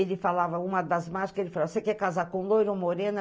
Ele falava uma das mágicas, ele falava, você quer casar com loira ou morena?